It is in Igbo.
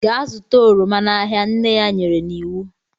Gaa zụta oroma n'ahịa, nne ya nyere iwu.